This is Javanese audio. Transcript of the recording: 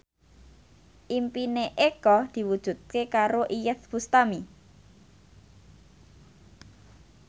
impine Eko diwujudke karo Iyeth Bustami